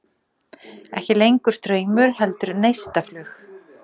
Ekki lengur straumur heldur neistaflug.